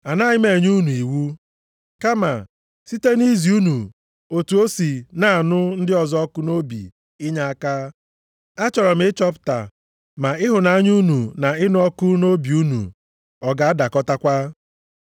Anaghị m enye unu iwu, kama site nʼizi unu otu o si na-anụ ndị ọzọ ọkụ nʼobi inyeaka, achọrọ m ịchọpụta ma ịhụnanya unu na ịnụ ọkụ nʼobi unu ọ ga-adakọtakwa.